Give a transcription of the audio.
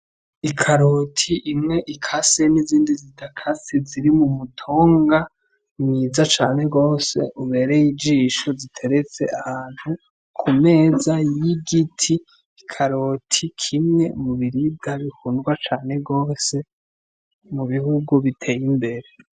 Ikaroti imwe ikase nizindi zidakase ziri mu mutumba mwiza cane gose ubereye ijisho ziteretse ahantu ku meza y'igiti, ikaroti kimwe mu biribwa bikundwa cane gose mu bihugu biteye imbere.